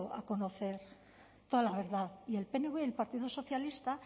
a conocer toda la verdad y el pnv y el partido socialista